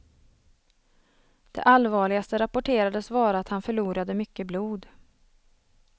Det allvarligaste rapporterades vara att han förlorade mycket blod.